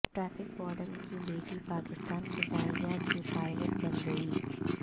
traffic warden کی بیٹی پاکستان فضائیہ کی پائلٹ بن گئی